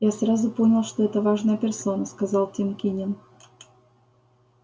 я сразу понял что это важная персона сказал тим кинен